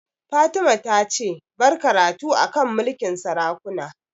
Fatima ta ce 'Bar karatu a kan mulkin sarakuna'!